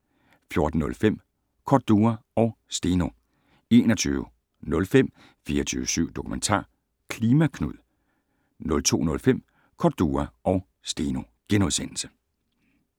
14:05: Cordua og Steno 21:05: 24syv Dokumentar: "Klima Knud" * 02:05: Cordua & Steno *